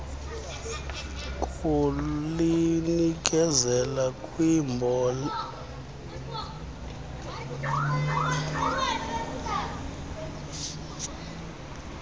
kulinikezela kumbolekisi weemali